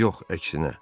Yox, əksinə.